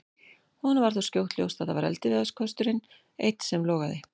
Honum varð þó skjótt ljóst að það var eldiviðarkösturinn einn sem logaði.